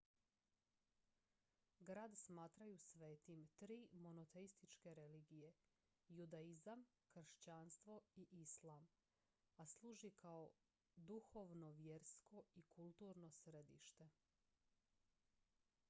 grad smatraju svetim tri monoteističke religije judaizam kršćanstvo i islam a služi kao duhovno vjersko i kulturno središte